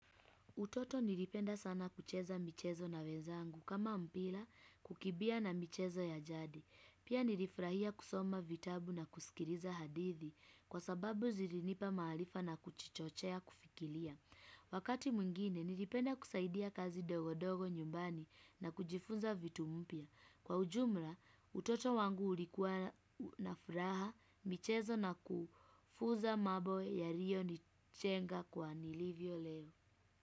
Utoto nilipenda sana kucheza michezo na wezangu kama mpila kukibia na michezo ya jadi. Pia nilifurahia kusoma vitabu na kuskiriza hadithi kwa sababu zilinipa maalifa na kuchichochea kufikilia. Wakati mwingine nilipenda kusaidia kazi ndogondogo nyumbani na kujifunza vitu mpia. Kwa ujumla utoto wangu ulikuwa nafuraha michezo na kufuza mambo yalio nijenga kwa nilivyo leo.